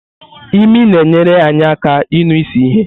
Imi na-enyere anyị aka ịnụ isi ihe.